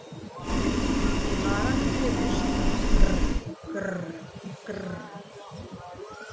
Í maganum heyrist grr- grr- grr.